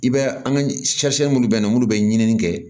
I b'a an ka minnu bɛ yen nɔ minnu bɛ ɲinini kɛ